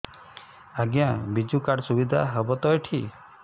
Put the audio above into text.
ଆଜ୍ଞା ବିଜୁ କାର୍ଡ ସୁବିଧା ହବ ତ ଏଠି